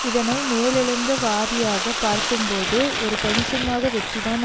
இதனை மேலெழுந்த வாரியாக பார்க்கும்போது ஒரு கணிசமான வெற்றி தான்